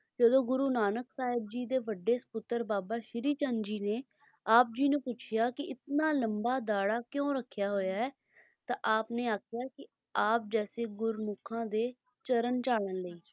ਜਦੋਂ ਗੁਰੂ ਨਾਨਕ ਸਾਹਿਬ ਜੀ ਦੇ ਵੱਡੇ ਸਪੁੱਤਰ ਬਾਬਾ ਸ਼੍ਰੀ ਚੰਦ ਜੀ ਨੇ ਆਪ ਜੀ ਨੂੰ ਪੁੱਛਿਆ ਕੀ ਇਤਨਾ ਲੰਬਾ ਦਾੜ੍ਹਾ ਕਿਉਂ ਰੱਖਿਆ ਹੋਇਆ ਹੈ ਤਾਂ ਆਪਣੇ ਆਖਿਆ ਕੀ ਆਪ ਜੈਸੇ ਗੁਰਮੁੱਖਾਂ ਦੇ ਚਰਨ ਝਾੜਣ ਲਈ